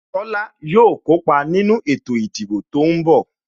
Tola yo kópa nínú ètò ìdìbò tó ń bọ̀